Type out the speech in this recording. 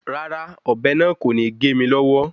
Rárá, ọ̀bẹ náà kò ní gé mi lọ́wọ́